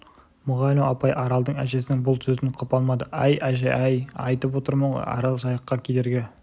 мұғалім ағай аралдың әжесінің бұл сөзін құп алмады әй әже-ай айтып отырмын ғой арал жайыққа кедергі